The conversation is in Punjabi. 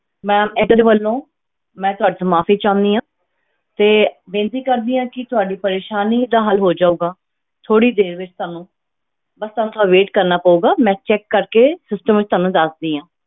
Ma'am ਏਅਰਟਲ ਵੱਲੋਂ ਮੈਂ ਤੁਹਾਡੇ ਤੋਂ ਮਾਫ਼ੀ ਚਾਹੁੰਦੀ ਹਾਂ ਤੇ ਬੇਨਤੀ ਕਰਦੀ ਹਾਂ ਕਿ ਤੁਹਾਡੀ ਪਰੇਸਾਨੀ ਦਾ ਹੱਲ ਹੋ ਜਾਊਗਾ ਥੋੜ੍ਹੀ ਦੇਰ ਵਿੱਚ ਤੁਹਾਨੂੰ, ਬਸ ਤੁਹਾਨੂੰ ਥੋੜ੍ਹਾ wait ਕਰਨਾ ਪਊਗਾ, ਮੈਂ check ਕਰਕੇ system ਵਿੱਚ ਤੁਹਾਨੂੰ ਦੱਸਦੀ ਹਾਂ।